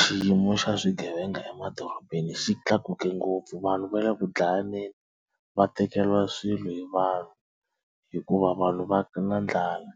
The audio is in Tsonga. Xiyimo xa swigevenga emadorobeni xi tlakuke ngopfu vanhu va le ku dlayaneni va tekeriwa swilo hi vanhu hikuva vanhu va na ndlala